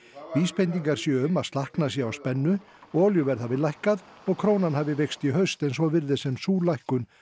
vísbendingar séu um að slakna sé á spennu og olíuverð lækkað krónan hafi veikst í haust en svo virðist sem sú lækkun